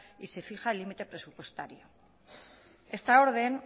y se fija el límite presupuestario esta orden